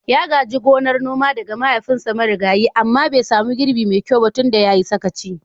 Ya gaji gonar noma daga mahaifinsa marigayi amma bai samu girbi mai kyau ba tun da ya yi sakaci.